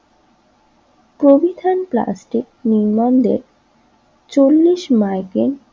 চল্লিশ মাইগ্রেন